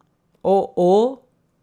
O, ooo!